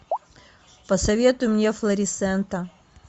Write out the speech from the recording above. посоветуй мне флорисента